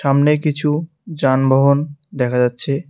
সামনে কিছু যানবাহন দেখা যাচ্ছে।